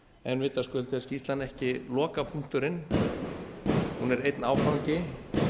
en vitaskuld er skýrslan ekki lokapunkturinn hún er einn áfangi